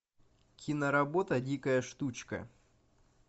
киноработа дикая штучка